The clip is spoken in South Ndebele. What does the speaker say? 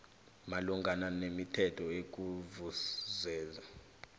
malungana nemithetho ekuzuzeni